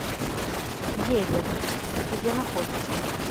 геллек где находится